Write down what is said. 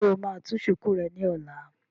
Ṣé o máa tú shùkú rẹ ní ọ̀la?